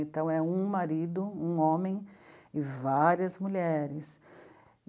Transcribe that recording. Então, é um marido, um homem e várias mulheres.